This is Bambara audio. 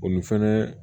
O ni fɛnɛ